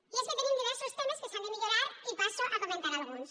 i és que tenim diversos temes que s’han de millorar i passo a comentar ne alguns